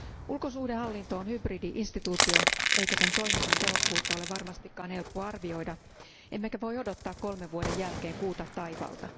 Ulkosuhdehallinto on hybridi instituutio, sen toiminnan tehokkuutta ei varmastikaan ole helppo arvioida emmekä voi odottaa kolmen vuoden jälkeen kuuta taivaalta.